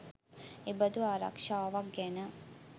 එබඳු ආරක්ෂාවක් ගැන